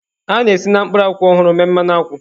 A na-esi na mkpụrụ akwụ ọhụrụ mee mmanụ akwụ